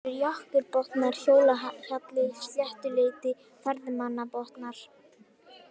Innri-Jökulbotnar, Hólahjalli, Sléttuleiti, Ferðamannabotnar